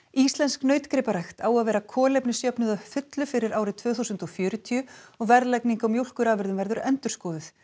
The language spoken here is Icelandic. íslensk nautgriparækt á að vera kolefnisjöfnuð að fullu fyrir árið tvö þúsund og fjörutíu og verðlagning á mjólkurafurðum verður endurskoðuð